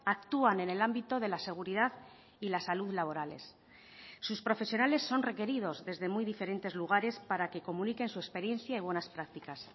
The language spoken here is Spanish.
actúan en el ámbito de la seguridad y la salud laborales sus profesionales son requeridos desde muy diferentes lugares para que comuniquen su experiencia y buenas prácticas